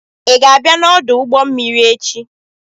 ị ga-abịa n'ọdụ ụgbọ mmiri echi?